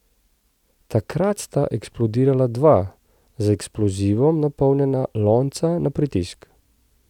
Takrat sta eksplodirala dva, z eksplozivom napolnjena lonca na pritisk.